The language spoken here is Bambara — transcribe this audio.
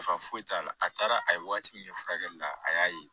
Nafa foyi t'a la a taara a ye wagati min kɛ furakɛli la a y'a ye